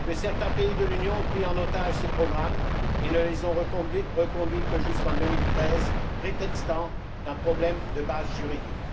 Que certains pays de l'Union ont pris en otage ces programmes et ne les ont reconduits que jusqu'en 2013, prétextant un problème de base juridique.